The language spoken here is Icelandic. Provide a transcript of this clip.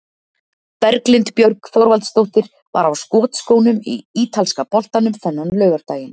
Berglind Björg Þorvaldsdóttir var á skotskónum í ítalska boltanum þennan laugardaginn.